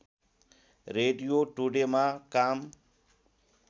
radio टुडेमा काम